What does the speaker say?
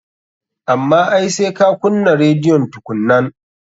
Amma ai sai ka kunnan rediyon tukunnan.